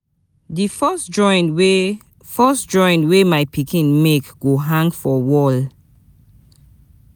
Di first drawing wey first drawing wey my pikin make go hang for wall.